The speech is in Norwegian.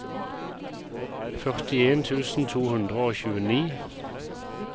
førtien tusen to hundre og tjueni